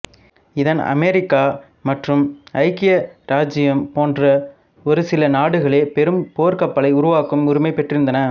இதன் அமெரிக்கா மற்றும் ஐக்கிய இராச்சியம் போன்ற ஒரு சில நாடுகளே பெரும் போர்க்கப்பல்களை உருவாக்கும் உரிமை பெற்றிருந்தன